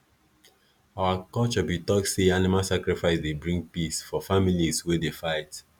our culture be talk say animal sacrifice dey bring peace for families wey dey fight